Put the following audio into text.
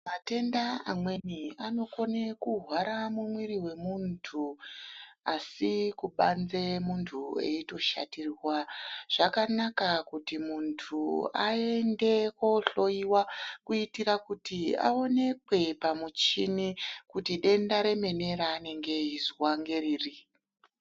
Matenda amweni anokone kuhwara mumwiri vemuntu asi kubanze muntu eitoshatirwa. Zvakanaka kuti muntu aende kohloiwa kuitira kuti aonekwe pamuchini kuti denda remene raanenge eizwa ngeriri.